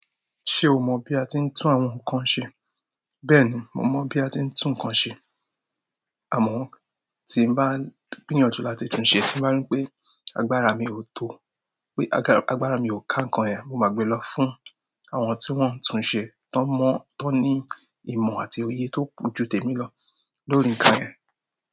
Ṣé o mọ́ bí a ti ń tún àwọn nǹkan ṣe? Bẹ́ẹ̀ni, mo mọ̀ bí a ti ń tún nǹkan ṣe. Amọ tin bá gbìyànjú láti tunṣe, tin bá rí pé agbára mi ó tó, pé agbára mi o ka ǹkan yẹn mo máa gbé lọ fún àwọn tí wọn tunṣe tọn mọ, tọn ni ìmọ̀ àti òye tó jù tèmi lọ lórí ǹkan yẹn.